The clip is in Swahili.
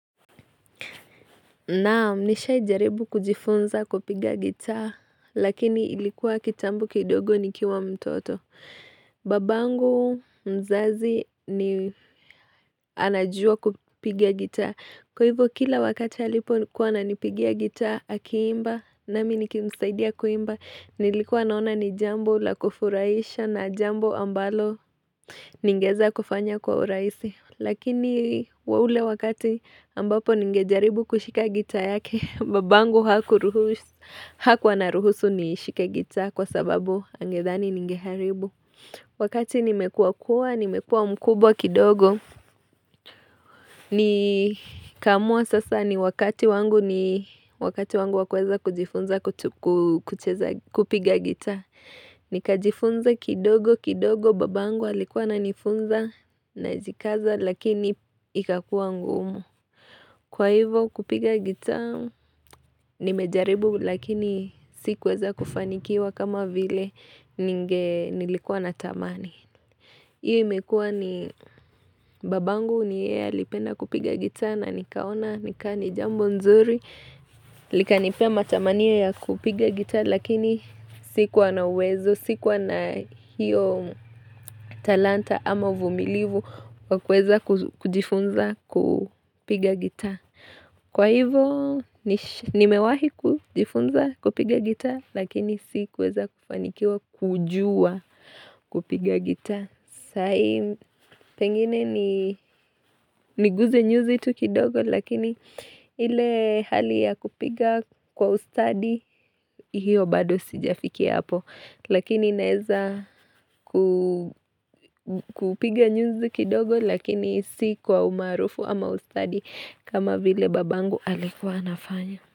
Naam, nishaijaribu kujifunza kupigia gitaa, lakini ilikuwa kitambo kidogo nikiwa mtoto. Babangu mzazi ni anajua kupigia gitaa. Kwa hivyo, kila wakati halipo kuwa na nipigia gitaa, hakiimba, nami niki msaidia kuimba. Nilikuwa naona ni jambo la kufurahisha na jambo ambalo ningeza kufanya kwa uraisi. Lakini wa ule wakati ambapo ningejaribu kushika gitaa yake, babangu hakurus anaruhusu nishike gitaa kwa sababu angedhani ningeharibu. Wakati nimekuwa kuwa, nimekuwa mkubwa kidogo, ni kamua sasa ni wakati wangu ni wakati wangu wakuweza kujifunza kupiga gita. Nika jifunza kidogo kidogo babangu alikuwa ananifunza na jikaza lakini ikakua ngumu Kwa hivo kupiga gitaa nimejaribu lakini sikuweza kufanikiwa kama vile ninge nilikuwa na tamani Iyo imekua ni babangu niye alipenda kupiga gitaa na nikaona nikani jambo nzuri Lika nipea matamania ya kupiga gita lakini sikuwa na uwezo, sikuwa na hiyo talanta ama uvumilivu wakuweza kujifunza kupiga gitaa. Kwa hivo nimewahi kujifunza kupiga gitaa lakini sikuweza kufanikiwa kujua kupiga gitaa. Sai pengine ni guze nyuzi tu kidogo lakini ile hali ya kupiga kwa ustadi hiyo bado sijafikia hapo lakini naeza ku kupiga nyuzi kidogo lakini si kwa umaarufu ama ustadi kama vile babangu alikuwa anafanya.